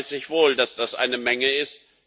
Das weiß ich wohl, dass das eine Menge ist.